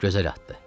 Gözəl addır.